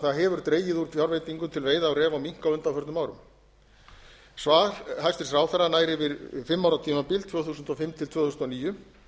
það hefur dregið úr fjárveitingum til veiða á ref og mink á undanförnum árum svar hæstvirtur ráðherra nær yfir fimm ára tímabil tvö þúsund og fimm til tvö þúsund og níu